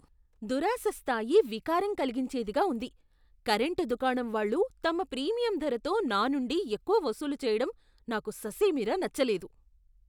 దురాశ స్థాయి వికారం కలిగించేదిగా ఉంది! కరెంటు దుకాణం వాళ్ళు తమ ప్రీమియం ధరతో నానుండి ఎక్కువ వసూలు చేయడం నాకు ససేమిరా నచ్చలేదు.